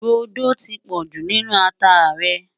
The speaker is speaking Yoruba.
rodò tí pojú nínú àtá rè